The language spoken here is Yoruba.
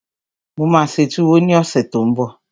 Mo máa ṣe túwó ní ọ̀sẹ̀ tó n bọ̀